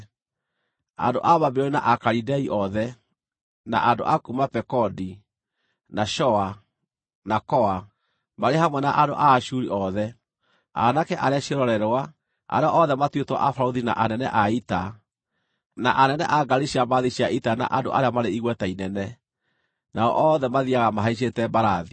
andũ a Babuloni na Akalidei othe, na andũ a kuuma Pekodi, na Shoa, na Koa, marĩ hamwe na andũ a Ashuri othe, aanake arĩa ciĩrorerwa, arĩa othe matuĩtwo abarũthi na anene a ita, na anene a ngaari cia mbarathi cia ita na andũ arĩa marĩ igweta inene, nao othe mathiiaga mahaicĩte mbarathi.